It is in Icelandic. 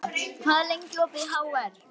Baldína, hvað er lengi opið í HR?